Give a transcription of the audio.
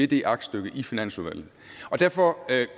det aktstykke i finansudvalget derfor